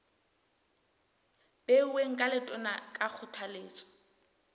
beuweng ke letona ka kgothaletso